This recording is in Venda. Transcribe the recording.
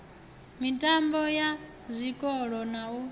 mitambo ya zwikolo na u